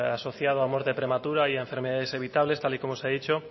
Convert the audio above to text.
asociado a muerte prematura y a enfermedades evitables tal y como se ha dicho